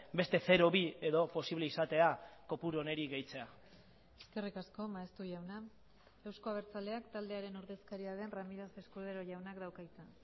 beste zero bi edo posible izatea kopuru honi gehitzea eskerrik asko maeztu jauna euzko abertzaleak taldearen ordezkaria den ramírez escudero jaunak dauka hitza